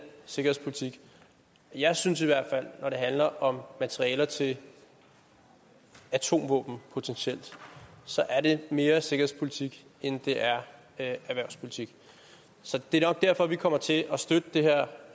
sikkerhedspolitik jeg synes i hvert fald at når det handler om materialer til atomvåben potentielt så er det mere sikkerhedspolitik end det er erhvervspolitik det er nok derfor vi kommer til at støtte det her